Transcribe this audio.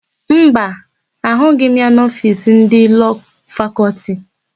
Mba, ahụghị m ya n'ofiisi ndị Lọọ Fakọltị.